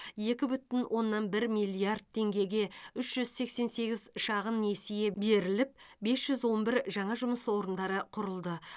екі бүтін оннан бір миллиард теңгеге үш жүз сексен сегіз шағын несие беріліп бес жүз он бір жаңа жұмыс орындары құрылды